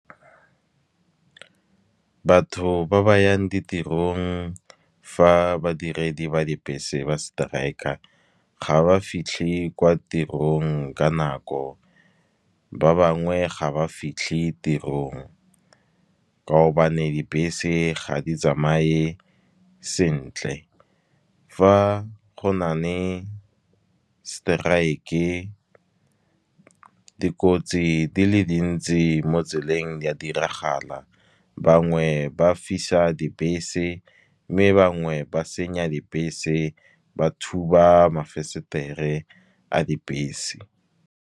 Batho ba ba yang ditirong fa badiredi ba dibese ba strike-a ga ba fitlhe kwa tirong ka nako. Ba bangwe ga ba fitlhe tirong, ka gobane dibese ga di tsamaye sentle. Fa go na le strike-e, dikotsi di le dintsi mo tseleng di a diragala, bangwe ba fisa dibese mme bangwe ba senya dibese ba thuba mavenstere a dibese.